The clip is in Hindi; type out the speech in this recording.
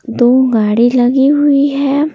दो गाडी लगी हुई है।